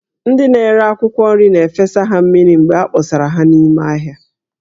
Ndị na-ere akwụkwọ nri na-efesa ha mmiri mgbe a kpọsara ha n'ime ahịa